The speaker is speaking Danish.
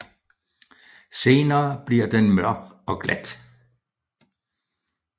Senere bliver den mørk og glat